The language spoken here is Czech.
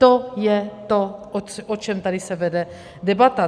To je to, o čem tady se vede debata.